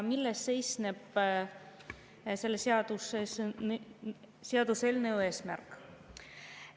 Milles seisneb selle seaduseelnõu eesmärk?